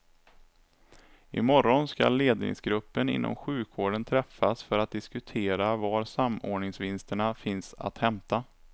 I morgon skall ledningsgruppen inom sjukvården träffas för att diskutera var samordningsvinsterna finns att hämta.